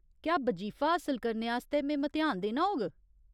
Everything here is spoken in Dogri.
क्या बजीफा हासल करने आस्तै में मतेहान देना होग ?